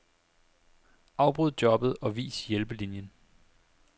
Afbryd jobbet og vis hjælpelinien.